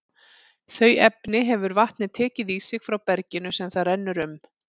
Þau efni hefur vatnið tekið í sig frá berginu sem það rennur um.